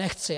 Nechci!